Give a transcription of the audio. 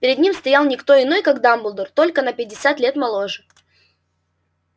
перед ним стоял не кто иной как дамблдор только на пятьдесят лет моложе